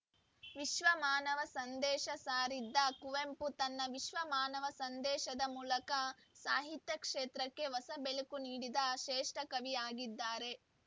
ವಿಶ್ವ ಮಾನವ ಸಂದೇಶ ಸಾರಿದ ಕುವೆಂಪು ತನ್ನ ವಿಶ್ವ ಮಾನವ ಸಂದೇಶದ ಮೂಲಕ ಸಾಹಿತ್ಯ ಕ್ಷೇತ್ರಕ್ಕೆ ಹೊಸ ಬೆಳಕು ನೀಡಿದ ಶ್ರೇಷ್ಠ ಕವಿಯಾಗಿದ್ದಾರೆ